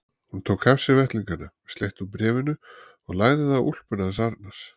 Hún tók af sér vettlingana, slétti úr bréfinu og lagði það á úlpuna hans Arnars.